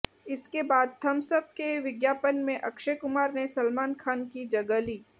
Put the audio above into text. इसके बाद Thums Up के विज्ञापन में अक्षय कुमार ने सलमान खान की जगह ली